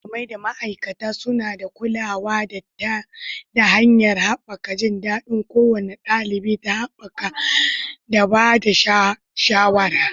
Malamai da ma'aikata suna ba da kulawa ta hanyar haɓaka jin daɗin kowane ɗalibi da haɓaka da ba da shawara.